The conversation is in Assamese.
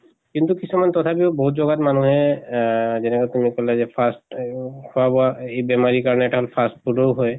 কিন্তু কিছুমান তথাপিও বহুত জগাত মানুহে আহ যেনেকে fast আহ খোৱা বোৱা এই বেমাৰিৰ কাৰণে এটা fast food ও হয়